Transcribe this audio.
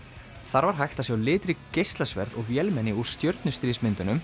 þar var hægt að sjá litrík geislasverð og vélmenni úr